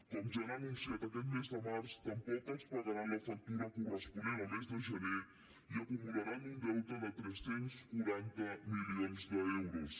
com ja han anunciat aquest mes de març tampoc els pagaran la factura corresponent al mes de gener i acumularan un deute de tres cents i quaranta milions d’euros